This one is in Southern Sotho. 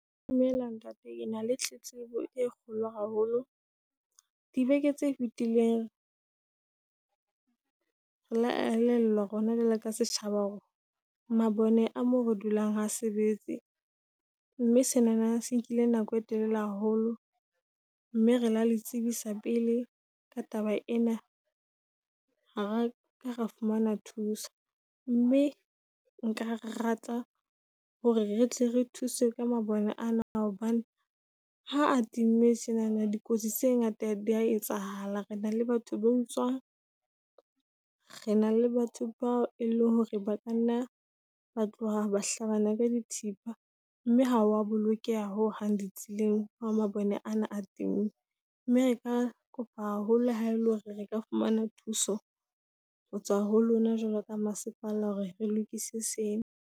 Dumela ntate, ke na le tletlebo e kgolo haholo. Dibeke tse fetileng re la elellwa rona jwale ka setjhaba, hore mabone a mo re dulang ha sebetse mme senana se nkile nako e telele haholo. Mme re la le tsebisa pele ka taba ena. Ha ra ka ra fumana thuso, mme nka rata hore re tle re thuswe ka mabone a na. Hobane ha a timme tjenana di kotsi tse ngata di a etsahala. Re na le batho ba tswang , re na le batho bao e leng hore ba ka nna ba tloha ba hlabana ka dithipa. Mme ha wa bolokeha ho hang di tseleng ha mabone ana a time. Mme re ka kopa haholo haele hore re ka fumana thuso hotswa ho lona jwalo ka masepala hore re lokise sena.